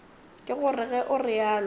ke gore ge o realo